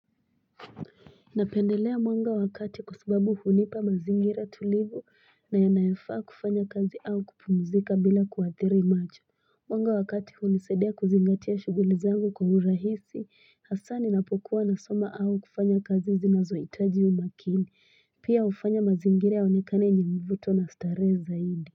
Na pendelea mwanga wakati kwasubabu hunipa mazingira tulivu na ya naefaa kufanya kazi au kupumzika bila kuathiri macho. Mwanga wa kati hunisaidia kuzingatia shugulizangu kwaurahisi asani na pokuwa na soma aukufanya kazi zinazo itaji umakini. Pia ufanya mazingira yaonekane ni yamvuto na starehe zaidi.